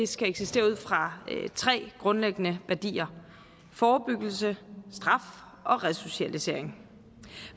skal eksistere ud fra tre grundlæggende værdier forebyggelse straf og resocialisering